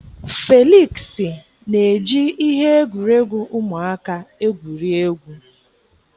Felịksị na-eji ihe egwuregwu ụmụaka egwuri egwu.